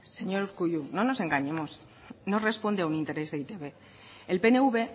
señor urkullu no nos engañemos no responde a un interés de e i te be el pnv